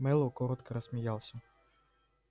мэллоу коротко рассмеялся